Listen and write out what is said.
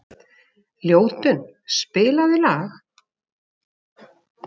Ljótunn, spilaðu lag.